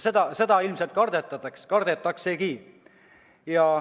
Ja seda ilmselt kardetaksegi.